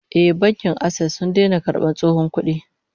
Eh, Bankin Access sun daina karbar tsohon kudi